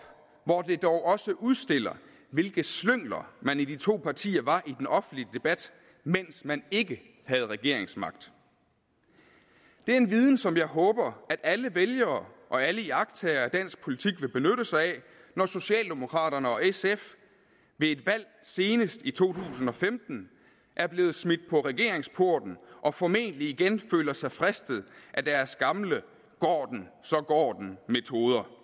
hvor det dog også udstiller hvilke slyngler man i de to partier var i den offentlige debat mens man ikke havde regeringsmagten det er en viden som jeg håber at alle vælgere og alle iagttagere af dansk politik vil benytte sig af når socialdemokraterne og sf ved et valg senest i to tusind og femten er blevet smidt på regeringsporten og formentlig igen føler sig fristet af deres gamle går den så går den metode